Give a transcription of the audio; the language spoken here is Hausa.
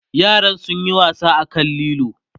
yaran sun Yi wasa a kan lilo